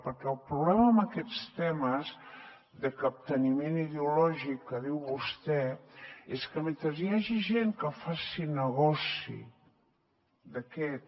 perquè el problema amb aquests temes de capteniment ideològic que diu vostè és que mentre hi hagi gent que faci negoci d’aquest